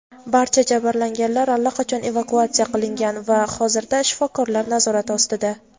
Barcha jabrlanganlar allaqachon evakuatsiya qilingan va hozirda shifokorlar nazorati ostida.